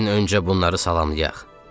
Gəlin öncə bunları salamlayaq.